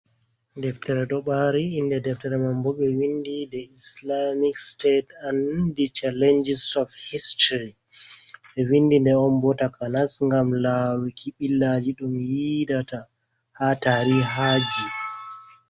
deftere dobari, inde deftere man bo, be windi de islamic state an di chalenjis of history be windi de on bo takanas gam lawuki billaji dum yidata ha tarihaji.